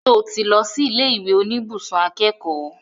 Ṣo tí lọ sí ilé ìwé oníbùsùn akẹ́kọ̀ọ́?